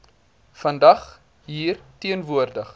vandag hier teenwoordig